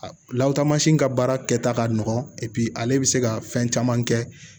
Lawaatamasi ka baara kɛta ka nɔgɔn ale bɛ se ka fɛn caman kɛ